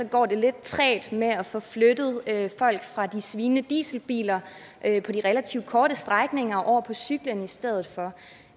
går det lidt trægt med at få flyttet folk fra de svinende dieselbiler på de relativt korte strækninger og over på cyklen i stedet for